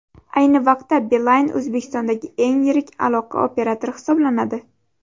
Ayni vaqtda Beeline O‘zbekistondagi eng yirik aloqa operatori hisoblanadi.